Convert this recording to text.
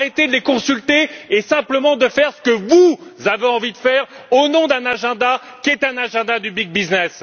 Arrêtez de les consulter et simplement de faire ce que vous avez envie de faire au nom d'un agenda qui est un agenda du big business.